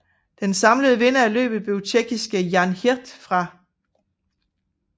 Den samlede vinder af løbet blev tjekkiske Jan Hirt fra